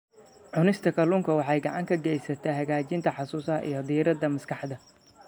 Cunista kalluunka waxay gacan ka geysataa hagaajinta xusuusta iyo diiradda maskaxda.